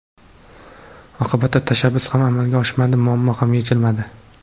Oqibatda tashabbus ham amalga oshmadi, muammo ham yechilmadi.